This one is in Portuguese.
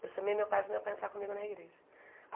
Eu chamei meu pai para o meu pai entrar comigo na igreja.